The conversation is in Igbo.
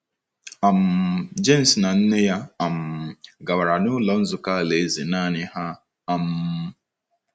um James na nne ya um gawara n’Ụlọ Nzukọ Alaeze nanị ha. um